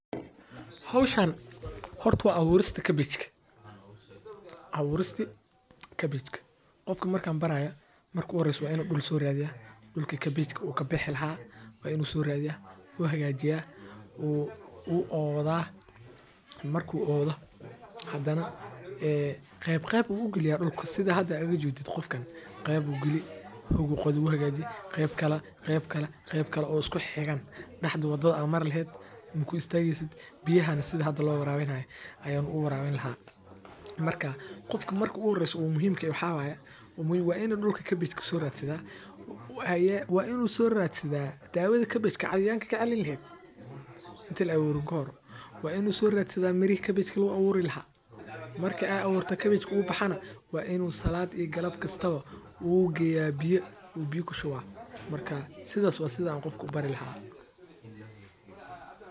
Hawshaan horto abuurista cabbage ka. Abuuristi cabbage ka qofka markaan baraaya markuu horeysay Wa inu dhul soo raadiyaa dhulka cabbage uu ka bixi lahaa waa inuu soo raadiya, uu hagaajiyay uu u oodhah marku uu odho haddana ee qeyb qeyb u galiya dhulku sida hada uga jedid qofkan qeyb u galiya ugu qodhi uhagaaji qeyb kale qeyb kale qeyb kale usko xeeqan dhexdu waddooda mar laheed muku istagi sid biyaha sida hada la waraa bihin ahay ayuu u waraa bihin lahaa. Markaa qofka markuu horeysa u muhiimkii waxaa waaya waain dhulka cabbage ka soo raadsada ayee waa inuu soo raadsada daawada cabbage ka cayayaanka ka ilalin laheed inta la abuurin ka hor waa inuu soo raadsada miri cabbage la u abuuri laha markii ay abuurta cabbage uu baxana waa inuu salaat iyo galab kastaba wuu geeyaa biyo biyuu ku shubaa. Markaa sidaas wa sidaan qofku barilahay.